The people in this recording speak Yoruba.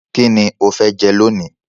Kíni o fe jẹ lónìí